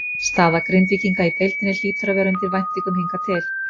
Staða Grindvíkinga í deildinni hlýtur að vera undir væntingum hingað til?